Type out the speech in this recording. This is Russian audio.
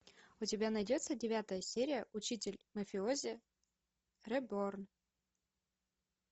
у тебя найдется девятая серия учитель мафиози реборн